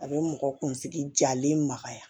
A bɛ mɔgɔ kunsigi jalen magaya